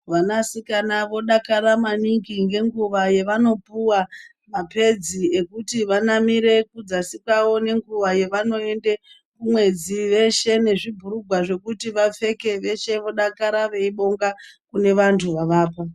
Vanasikana vodakara maningi ngenguva yevanopuwa mapedzi ekuti vanamire kudzasi kwavo nenguva yevanoenda kumwedzi veshe nezvibhurugwa zvekupfeka vapfeke veshe vodakara veivonga kunevantu vavapa.